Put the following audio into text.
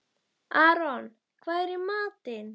Aron, hvað er í matinn?